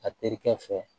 A terikɛ fɛ